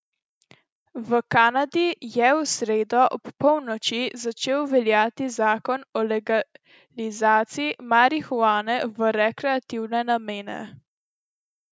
V Kanadi je v sredo ob polnoči začel veljati zakon o legalizaciji marihuane v rekreativne namene.